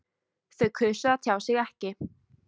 Þau kusu að tjá sig ekki